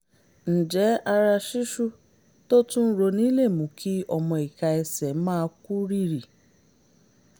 ǹjẹ́ ara ṣíṣú tó tún ń roni lè mú kí ọmọ ìka ẹsẹ̀ máa kú rìrì?